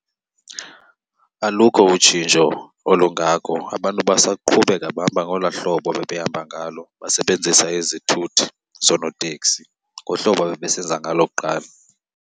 Alukho utshintsho olungako, abantu basaqhubeka bahamba ngolwaa hlobo babehamba ngalo, basebenzisa izithuthi zoonotekisi ngohlobo ababesenza ngalo kuqala.